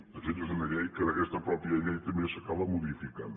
de fet és una llei que en aquesta mateixa llei també s’acaba modificant